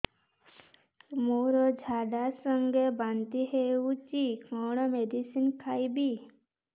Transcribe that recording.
ମୋର ଝାଡା ସଂଗେ ବାନ୍ତି ହଉଚି କଣ ମେଡିସିନ ଖାଇବି